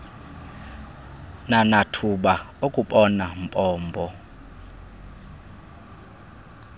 nanathuba okubona mbombo